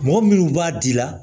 Mɔgɔ minnu b'a di la